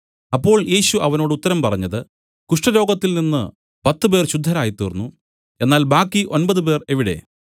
അപ്പോൾ യേശു അവനോട് ഉത്തരം പറഞ്ഞത് കുഷ്ഠരോഗത്തിൽ നിന്നു പത്തുപേർ ശുദ്ധരായ്തീർന്നു എന്നാൽ ബാക്കി ഒമ്പതുപേർ എവിടെ